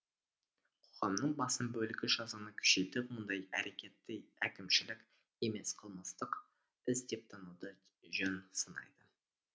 қоғамның басым бөлігі жазаны күшейтіп мұндай әрекетті әкімшілік емес қылмыстық іс деп тануды жөн санайды